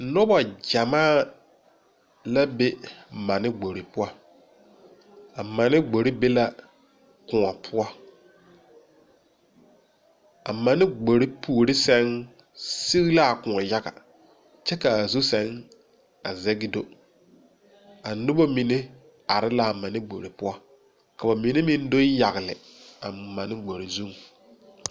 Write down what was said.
Nobɔ gyamaa la be mane gbore poʊ. A mane gbore be la koɔ poʊ. A mane gbore poore sɛŋ seg la a koɔ yaga kyɛ ka a zu sɛŋ a zege do. A nobɔ mene are la a mane gbore poʊ. Ka ba mene meŋ do yagle a mane gbore zuŋ.